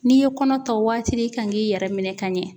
N'i ye kɔnɔ ta waati i kan k'i yɛrɛ minɛ ka ɲɛ